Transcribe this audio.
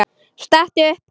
Stattu upp!